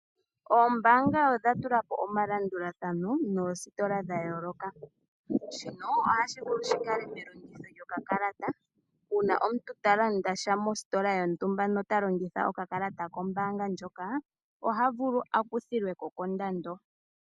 Oombanga odha tulapo omalandulathano noositola dha yooloka shoka hashi vulu shikale melongitho lyokakalata uuna omuntu ta landa sha mositola lyontumba nota longitha okakalata kombaanga ndjoka oha vulu akuthilweko kondando